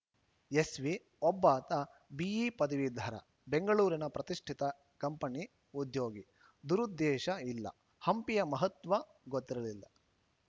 SP ಒಬ್ಬಾತ BE ಪದವೀಧರ ಬೆಂಗಳೂರಿನ ಪ್ರತಿಷ್ಠಿತ ಕಂಪನಿ ಉದ್ಯೋಗಿ ದುರುದ್ದೇಶ ಇಲ್ಲ ಹಂಪಿಯ ಮಹತ್ವ ಗೊತ್ತಿರಲಿಲ್ಲ